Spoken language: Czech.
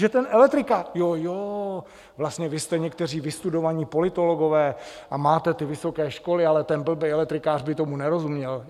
Že ten elektrikář... jo, jo, vlastně vy jste někteří vystudovaní politologové a máte ty vysoké školy, ale ten blbej elektrikář by tomu nerozuměl?